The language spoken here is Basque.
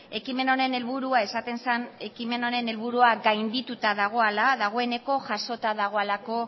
ekimen honen helburua gaindituta dagoala dagoeneko jasota dagoalako